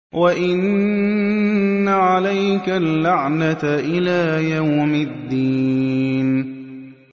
وَإِنَّ عَلَيْكَ اللَّعْنَةَ إِلَىٰ يَوْمِ الدِّينِ